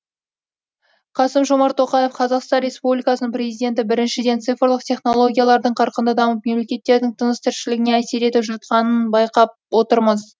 қасым жомарт тоқаев қазақстан республикасының президенті біріншіден цифрлық технологиялардың қарқынды дамып мемлекеттердің тыныс тіршілігіне әсер етіп жатқанын байқап отырмыз